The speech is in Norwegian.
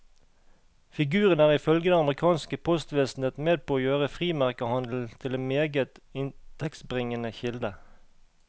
Figuren er ifølge det amerikanske postvesenet med på å gjøre frimerkehandelen til en meget inntektsbringende kilde.